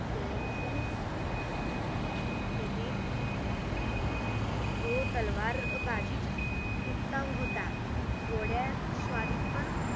त्याने खूप त्याने तो तलवार बाजी उत्तम होता आणि घोडस्वरीत पण